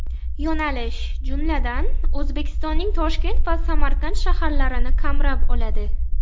Yo‘nalish, jumladan, O‘zbekistonning Toshkent va Samarqand shaharlarini qamrab oladi.